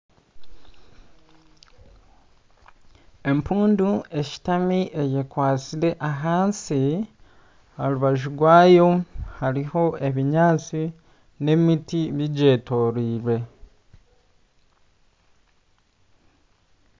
Empundu eshutami eyekwatsire ahansi aha rubaju rwayo hariho ebinyaantsi n'emiti bigyetoreire.